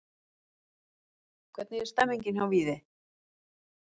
Hvernig er stemningin hjá Víði?